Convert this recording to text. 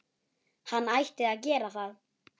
Hann ætti að gera það.